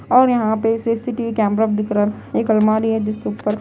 और यहाँ पे सी_सी_टी_वी कैमरा दिख रहा एक अलमारी हैजिसके ऊपर --